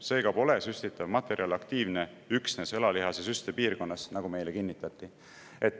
Seega pole süstitav materjal aktiivne üksnes õlalihase süstepiirkonnas, nagu meile kinnitati.